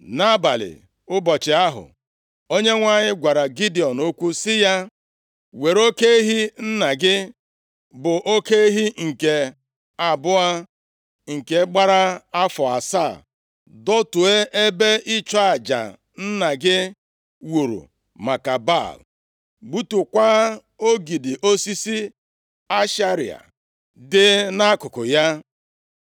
Nʼabalị ụbọchị ahụ, Onyenwe anyị gwara Gidiọn okwu sị ya, “Were oke ehi nna gị, bụ oke ehi nke abụọ, nke gbara afọ asaa. Dọtuo ebe ịchụ aja nna gị wuru maka Baal, gbutukwaa ogidi osisi Ashera dị nʼakụkụ ya.